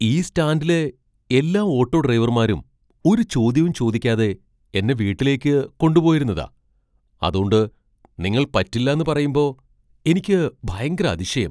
ഈ സ്റ്റാൻഡിലെ എല്ലാ ഓട്ടോ ഡ്രൈവർമാരും ഒരു ചോദ്യവും ചോദിക്കാതെ എന്നെ വീട്ടിലേക്ക് കൊണ്ടുപോയിരുന്നതാ , അതോണ്ട് നിങ്ങൾ പറ്റില്ലാന്ന് പറയുമ്പോ എനിക്ക് ഭയങ്കര അതിശയം !